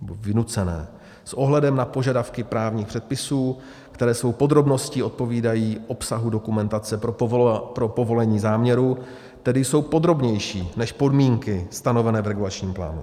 nebo vynucené s ohledem na požadavky právních předpisů, které svou podrobností odpovídají obsahu dokumentace pro povolení záměru, tedy jsou podrobnější než podmínky stanovené v regulačním plánu.